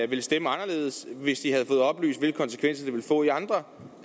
ville stemme anderledes hvis de havde fået oplyst hvilke konsekvenser det ville få i andre